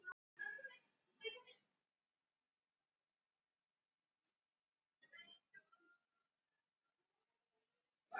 Það er auðvitað enginn leikur auðveldur.